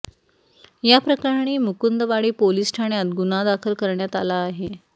या प्रकरणी मुकुंदवाडी पोलीस ठाण्यात गुन्हा दाखल करण्यात आला आहे